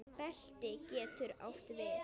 Belti getur átt við